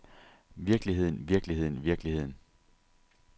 virkeligheden virkeligheden virkeligheden